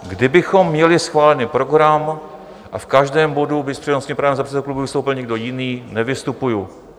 Kdybychom měli schválený program a v každém bodu by s přednostním právem za předsedu klubu vystoupil někdo jiný, nevystupuji.